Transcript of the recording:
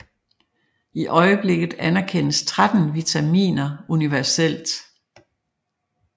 I øjeblikket anerkendes 13 vitaminer universelt